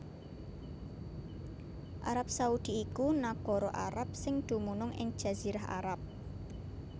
Arab Saudi iku nagara Arab sing dumunung ing Jazirah Arab